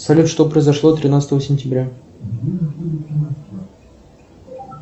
салют что произошло тринадцатого сентября